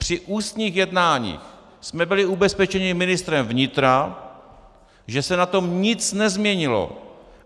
Při ústních jednáních jsme byli ubezpečeni ministrem vnitra, že se na tom nic nezměnilo.